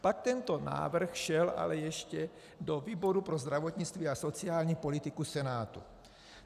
Pak tento návrh šel ale ještě do výboru pro zdravotnictví a sociální politiku Senátu.